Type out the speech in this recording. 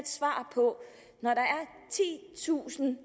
to tusind